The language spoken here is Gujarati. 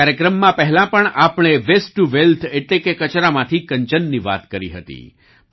આ કાર્યક્રમમાં પહેલાં પણ આપણે વેસ્ટ ટુ વેલ્થ એટલે કે કચરામાંથી કંચનની વાત કરી હતી